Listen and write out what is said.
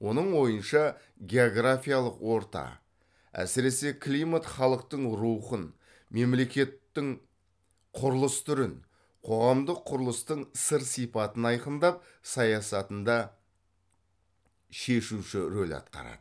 оның ойынша географиялық орта әсіресе климат халықтың рухын мемлекеттің құрылыс түрін қоғамдық құрылыстың сыр сипатын айқындап саясатында шешуші рөл атқарады